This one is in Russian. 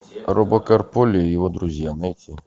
робокар поли и его друзья найти